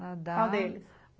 Qual deles?